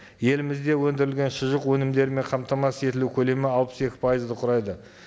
елімізде өндірілген шұжық өнімдерімен қамтамасыз етілу көлемі алпыс екі пайызды құрайды